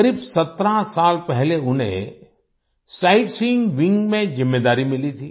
करीब 17 साल पहले उन्हें साइटसीइंग विंग में ज़िम्मेदारी मिली थी